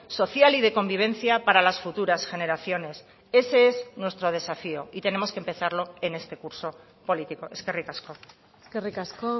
social y de convivencia para las futuras generaciones ese es nuestro desafío y tenemos que empezarlo en este curso político eskerrik asko eskerrik asko